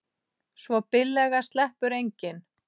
Svo billega sleppur enginn.